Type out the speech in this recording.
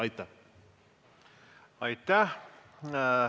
Aitäh!